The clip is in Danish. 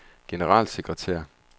generalsekretær